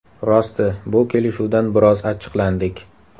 Rosti, bu kelishuvdan biroz achchiqlandik.